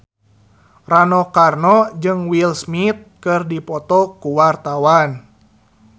Rano Karno jeung Will Smith keur dipoto ku wartawan